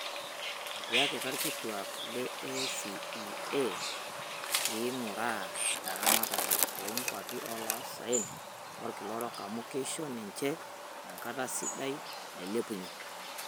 Etiaka ilkituaak le ACEA peeinguraa eramatare oo nkwapi oloosaen olkila orok amu keisho niche ekata sidai nailepunye.